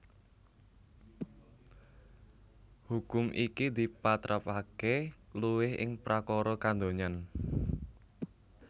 Hukum iki dipatrapaké luwih ing prakara kadonyan